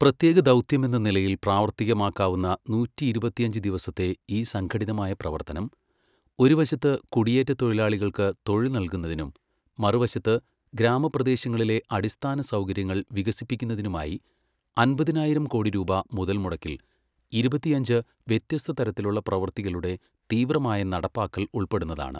പ്രത്യേക ദൗത്യമെന്ന നിലയിൽ പ്രാവർത്തികമാക്കാവുന്ന നൂറ്റിയിരുപത്തഞ്ച് ദിവസത്തെ ഈ സംഘടിതമായ പ്രവർത്തനം, ഒരു വശത്ത് കുടിയേറ്റ തൊഴിലാളികൾക്ക് തൊഴിൽ നല്കുന്നതിനും മറുവശത്ത് ഗ്രാമപ്രദേശങ്ങളിലെ അടിസ്ഥാന സൗകര്യങ്ങൾ വികസിപ്പിക്കുന്നതിനുമായി അൻപതിനായിരം കോടി രൂപാ മുതല്മുടക്കിൽ ഇരുപത്തിയഞ്ച് വ്യത്യസ്തതരത്തിലുള്ള പ്രവൃത്തികളുടെ തീവ്രമായ നടപ്പാക്കൽ ഉൾപ്പെടുന്നതാണ്.